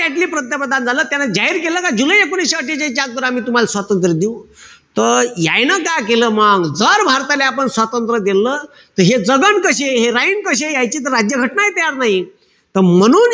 ॲटली पंतप्रधान झालं. त्यानं जाहीर केलं का जुलै एकोणीशे अट्ठेचाळीसच्या अगोदर आम्ही तुम्हाला स्वतंत्र देऊ. त यायनं काय केलं मंग, जर भारताले आपण स्वातंत्र्य देल त हे जगन कशे, हे राईन कशे, यायची त राज्य घटनाही तयार नाही. त म्हणून,